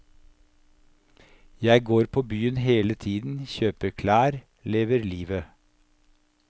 Jeg går på byen hele tiden, kjøper klær, lever livet.